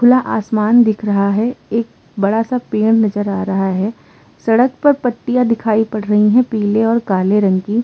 खुला आसमान दिख रहा है। एक बड़ा सा पेड़ नजर आ रहा है। सड़क पर पट्टियां दिखाई पड़ रही हैं पीले और काले रंग की।